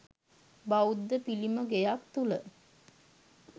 බෞද්ධ පිළිමගෙයක් තුළ